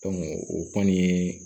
o kɔni